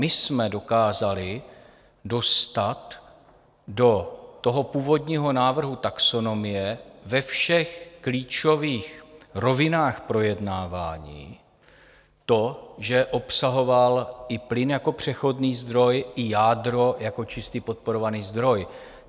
My jsme dokázali dostat do toho původního návrhu taxonomie ve všech klíčových rovinách projednávání to, že obsahoval i plyn jako přechodný zdroj i jádro jako čistý podporovaný zdroj.